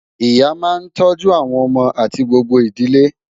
Ìyá máa ń tọ́jú àwọn ọmọ àti gbogbo ìdílé